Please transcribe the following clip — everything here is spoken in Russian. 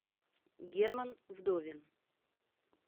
герман вдовин